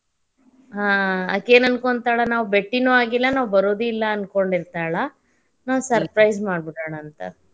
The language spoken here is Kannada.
ಆಹ್ ಆಕೇನ ಅನ್ಕೊಂತಾಳ ನಾವ್ ಬೆಟ್ಟಿನೂ ಆಗಿಲ್ಲ, ನಾವ್ ಬರೋದು ಇಲ್ಲಾ ಅನ್ಕೊಂಡಿರತಾಳ ನಾವ್ surprise ಮಾಡಿಬಿಡೋಣಂತ.